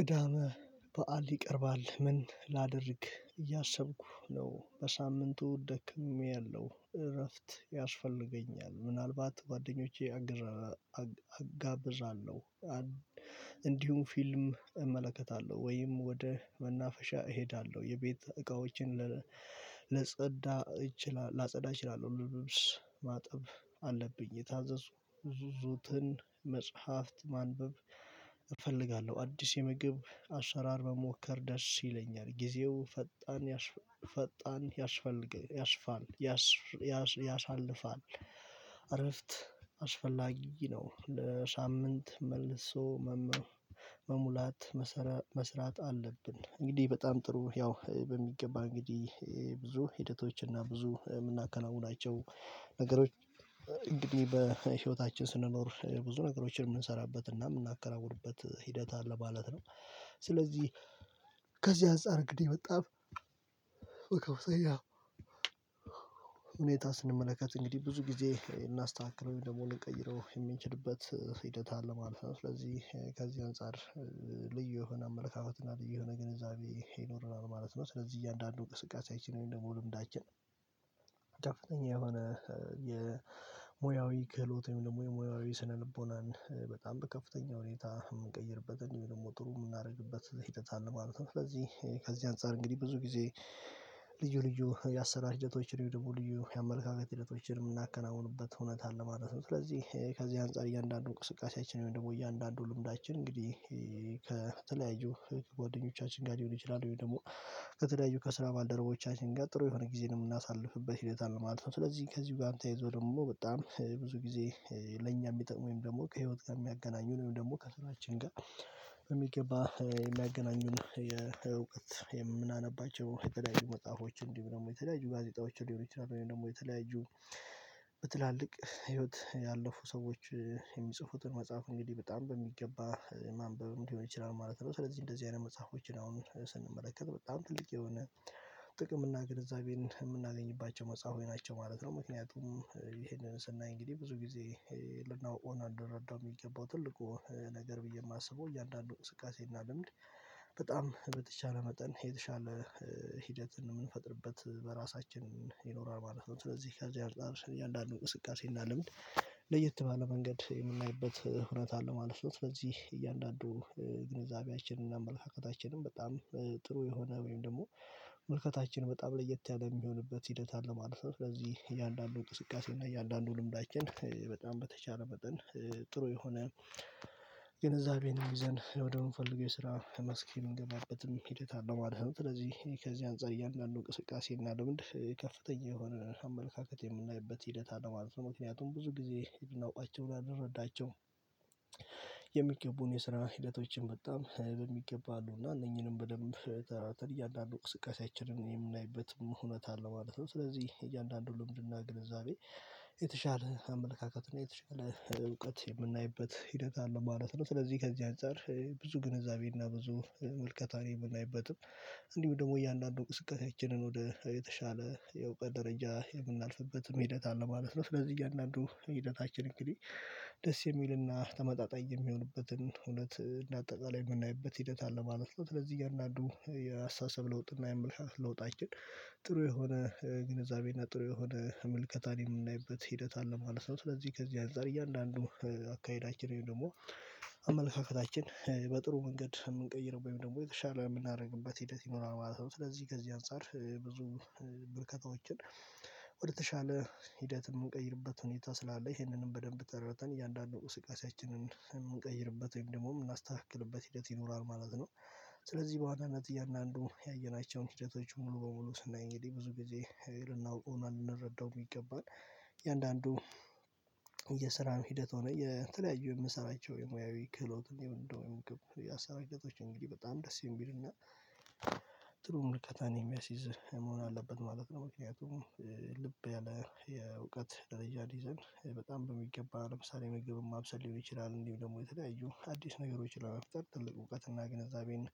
ቅዳመ በዓል ይቀርባል። ምን ላደርግ እያሰብኩ ነው። በሳምንቱ ደክምያለሁ እረፍት ያስፈልገኛል ምናልባት ጓደኞቼ እጋበዛለሁ። እንዲሁም ፊልም እመለከታለሁ ወይም ወደ መናፈሻ እሄዳለሁ። የቤት እቃዎችን ላጸዳ እችላለሁ። ለብስ ማጠብ አለብኝ። የታዘዙ ዙትን መጽሐፍት ማንበብ እፈልጋለሁ። አዲስ የምግብ አሰራር በመሞከር ደስ ይለኛል። ጊዜው ፈጣን ፈጣን ያስፋል ያስፋል ያሳልፋል። እረፍት አስፈላጊ ነው። ለሳምንት መልሶ መሙላት መስራት አለብን። እንግዲህ በጣም ጥሩ ያው በሚገባ እንግዲህ ብዙ ሂደቶች እና ብዙ የምናከናውናቸው ነገሮች እንግዲህ በህይወታችን ስንኖሩ ብዙ ነገሮችን የምንሰራበት እና የምናከራውትበት ሂደት አለ ማለት ነው። ስለዚህ ከዚህ አንፃር እንግዲህ መጣፍ ሁኔታ ስንመለከት እንግዲህ ብዙ ጊዜ እናስተካክለው ደግሞ ልንቀይረው የምንችልበት ሂደት አለ ማለት ነው። ስለዚህ ከዚህ አንፃር ልዩ የሆነ አመለካከት እና ልዩ የሆነ ግንዛቤ ይኖረናል ማለት ነው። ስለዚህ እያንዳንዱን እንቅስቃስያችን ደግሞ ልምዳችን ከፍተኛ የሆነ የሙያዊ ክህሎት ወይም ደግሞ የሙያዊ ስነልቦናን በጣም በከፍተኛ ሁኔታ የምንቀይርበትን ደግሞ ጥሩ የምናደርግበት ሂደት አለ ማለት ነው። ስለዚህ ከዚህ አንፃር እንግዲህ ብዙ ጊዜ ልዩ ልዩ ያሰናሽ ሂደቶች ልዩ ደግሞ የመመልከት ሂደቶችን የምናከናውኑበት ሁኔት አለ ማለት ነው። ስለዚህ ከዚህ አንፃር እያንዳንዱን ቁስቃሴያችን ወይም ደግሞ እያንዳንዱን ልምዳችን እንግዲህ ከተለያዩ ጎደኞቻችን ጋር ሊሆን ይችላል ወይ ደግሞ ከተለያዩ ከስራ ማልደረቦቻችን ጋር ጥሩ የሆነ ጊዜን የምናሳልፍበት ህይውት አለ ማለት ነው። ስለዚህ ከዚህ ጋር ተያይዞ ደግሞ በጣም ብዙ ጊዜ ለኛ የሚጠቅመኝ ወይም ደግሞ ከህይወት ጋር የሚያገናኙንም ደግሞ ከስራችን ጋር በሚገባ የሚያገናኙን የእውቀት የምናነባቸው የተለያዩ መጽሐፎች እንዲህ ደግሞ የተለያዩ ጋዜጣዎች እንዲህ ደግሞ የተለያዩ በትላልቅ ህይወት ያለፉ ሰዎች የሚጽፉትን መጽሐፉ እንግዲህ በጣም በሚገባ ማንበብም ሊሆን ይችላል ማለት ነው። ስለዚህ እንደዚህ አይነት መጽሐፎችን አሁን ስንመለከት በጣም ትልቅ የሆነ ጥቅም እና ግንዛቤን የምናገኝባቸው መጽሐፎች ናቸው ማለት ነው። ምክንያቱም ይሄንን ስናይ እንግዲህ ብዙ ጊዜ ልናቀው እና ልንረዳው የሚገባው ትልቁ ነገር ብዬ የማስበው እያንዳንዱ ቅስቃሴና ልምድ በጣም በተቻለ መጠን የተሻለ ሂደት የምንፈጥርበት በራሳችን ይኖራል ማለት ነው። ስለዚህ ከዚህ አንፃር እያንዳንዱ እንቅስቃሴና ልምድ ለየት ባለ መንገድ የምናይበት ሁኔት አለ ማለት ነው። ስለዚህ እያንዳንዱ ግንዛቤያችንን አመለካከታችንን በጣም ጥሩ የሆነ ወይም ደግሞ መልከታችን በጣም ለየት ያለ የሚሆንበት ሂደት አለ ማለት ነው። ስለዚህ እያንዳንዱ እንቅስቃሴ እና እያንዳንዱን ልምዳችን በጣም በተቻለ መጠን ጥሩ የሆነ ግንዛቤን ይዘን ወደምንፈልገው የስራ መስኪ የምንገባበት ሂደት አለው። ስለዚህ ከዚህ አንፃር እያንዳንዱን ቅስቃሴ እና ለምንድን ከፍተኛ የሆነ አመለካከት የምናይበት ሂደት አለ ማለት ነው። ምክንያቱም ብዙ ጊዜ የምንወቃቸው ልንረዳቸውም የስራ ሂደቶችን በጣም በሚገባ አሉና እነኚህንም በደንብ ተራተን እያንዳንዱ ቅስቀሳችንን የምናይበትም ሁኔታ አለ ማለት ነው። ስለዚህ እያንዳንዱን ልምድና ግንዛቤ የተሻለ አመለካከት የተሻለ እውቀት የምናይበት ሂደት አለ ማለት ነው። ስለዚህ ከዚህ አንፃር ብዙ ግንዛቤና ብዙ መልከታን የምናይበትም እንዲሁ ደግሞ እያንዳንዱን እንቅስቃሰያችንን ወደ የተሻለ የእውቀት ደረጃ የምናልፍበት ሂደት አለ ማለት ነው። ስለዚህ እያንዳንዱ ሂደታችን እንግዲህ ደስ የሚልና ተመጣጣኝ የሚሆንበትን ሁኔት እንደ አጠቃላይ የምናይበት ሂደት አለ ማለት ነው። ለዚህ እያንዳንዱ የአስተሳሰብ ለውጥ እና የአመለካከት ለውጣችን ጥሩ የሆነ ግንዛቤና ጥሩ የሆነ ምልከታን የምናይበት ሂደት አለ ማለት ነው። ስለዚህ ከዚህ አንፃር እያንዳንዱ አካሄዳችን ወይም ደግሞ አመለካከታችን በጥሩ መንገድ የምንቀይረው ወይም ደግሞ የተሻለ የምናደርግበት ሂደት ይኖራል ማለት ነው። ስለዚህ ከዚህ አንፃር ብዙ ምልከታዎችን ወደተሻለ ሂደት የምንቀይርበት ሁኔታ ስላለ ይሄንንም በደንብ ተረተን እያንዳንዱ እንቅስቃሰያችንን የምንቀይርበት ወይም ደግሞ የምናስተካክልበት ሂደት ይኖራል ማለት ነው። ስለዚህ በዋናነት እያንዳንዱ ያየናቸውን ሂደቶች ሙሉ በሙሉ ስናይ እንግዲህ ብዙ ጊዜ ልናውቀውና ልንረዳው የሚገባን እያንዳንዱ የስራን ሂደት ሆነ የተለያዩ የምሰራቸው የሙያዊ ክህሎት እንደው ክህሎት እንግዲህ በጣም ደስ የሚልና ጥሩ ምልከታን የሚያስይዝ መሆን አለበት ማለት ነው። ምክንያቱም ልብ ያለ የእውቀት ደረጃ ሊይዘን በጣም በሚገባ ለምሳሌ መግብም ማብሰል ሊሆን ይችላል። እንዲሁ ደግሞ የተለያዩ አዲስ ነገሮች ለመፍጠር ትልቅ እውቀት እና ግንዛቤን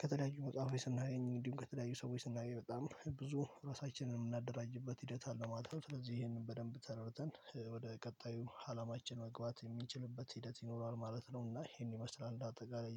ከተለያዩ መጽሐፍ ስናገኝ እንዲሁም ከተለያዩ ሰዎች ስናገኝ በጣም ብዙ ራሳችንን የምናደራጅበት ሂደት አለው ማለት ነው። ስለዚህ ይሄንን በደንብ ተረተን ወደ ቀጣዩ አላማችን መግባት የሚችልበት ሂደት ይኖረዋል ማለት ነው። እና ይሄን ይመስላል እንደ አጠቃላይ